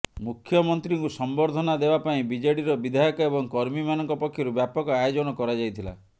ମୁଖ୍ୟମନ୍ତ୍ରୀଙ୍କୁ ସମ୍ବର୍ଦ୍ଧନା ଦେବା ପାଇଁ ବିଜେଡିର ବିଧାୟକ ଏବଂ କର୍ମୀମାନଙ୍କ ପକ୍ଷରୁ ବ୍ୟାପକ ଆୟୋଜନ କରାଯାଇଥିଲା